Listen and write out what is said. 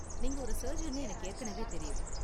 நீங்க ஒரு சர்ஜன்னு எனக்கு ஏற்கனவே தெரியும்.